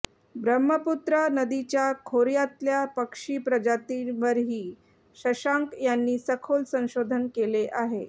ब्रह्मपुत्रा नदीच्या खोर्यातल्या पक्षी प्रजातींवरही शशांक यांनी सखोल संशोधन केले आहे